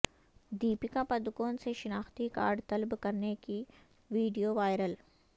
دیپیکا پڈکون سے شناختی کارڈ طلب کرنے کی ویڈیو وائرل